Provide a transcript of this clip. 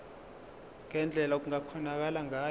ngendlela okungakhonakala ngayo